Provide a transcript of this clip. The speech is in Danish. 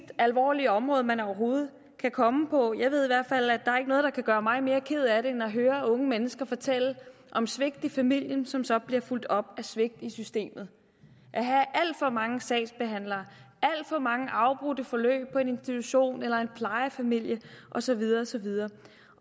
alvorlige område man overhovedet kan komme ind på jeg ved i hvert fald at noget der kan gøre mig mere ked af det end at høre unge mennesker fortælle om svigt i familien som så bliver fulgt op af svigt i systemet at have alt for mange sagsbehandlere alt for mange afbrudte forløb på en institution eller i en plejefamilie og så videre og så videre